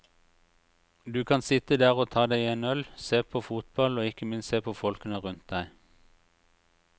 Du kan sitte der og ta deg en øl, se på fotball og ikke minst se på folkene rundt deg.